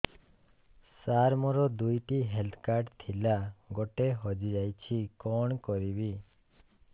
ସାର ମୋର ଦୁଇ ଟି ହେଲ୍ଥ କାର୍ଡ ଥିଲା ଗୋଟେ ହଜିଯାଇଛି କଣ କରିବି